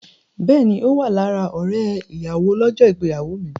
Bẹ́ẹ̀ni, Ó wà lára ọ̀rẹ́ ìyàwó lọ́jọ́ ìgbéyàwó mi.